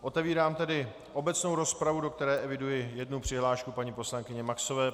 Otevírám tedy obecnou rozpravu, do které eviduji jednu přihlášku paní poslankyně Maxové.